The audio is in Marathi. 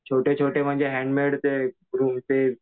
छोटे छोटे म्हणजे हॅण्डमेड ते